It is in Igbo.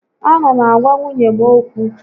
A na m agwa nwunye m ókwú